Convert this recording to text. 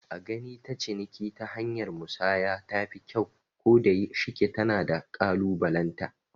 A gani ta ciniki ta hanyar musanya tafi kyau, ko da shike tana da kalubalenta